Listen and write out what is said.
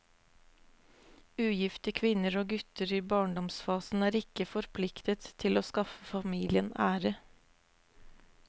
Ugifte kvinner og gutter i barndomsfasen er ikke forpliktet til å skaffe familien ære.